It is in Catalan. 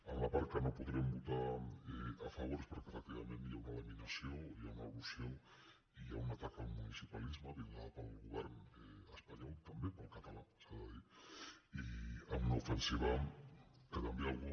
en la part que no podrem votar a favor és perquè efec·tivament hi ha una laminació hi ha una erosió i hi ha un atac al municipalisme liderats pel govern espa·nyol també pel català s’ha de dir i amb una ofensi·va que també algú